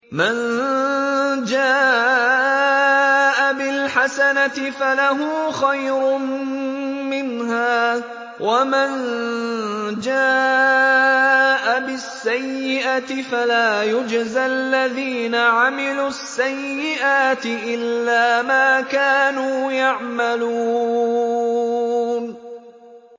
مَن جَاءَ بِالْحَسَنَةِ فَلَهُ خَيْرٌ مِّنْهَا ۖ وَمَن جَاءَ بِالسَّيِّئَةِ فَلَا يُجْزَى الَّذِينَ عَمِلُوا السَّيِّئَاتِ إِلَّا مَا كَانُوا يَعْمَلُونَ